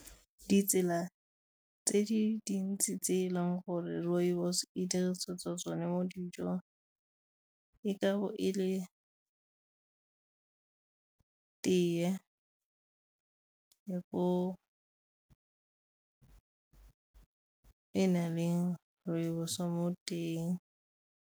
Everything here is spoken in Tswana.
Ditsela tse di dintsi tse e leng gore rooibos e dirisetswa tsone mo dijong e ka bo e le tee, e na le rooibos mo teng.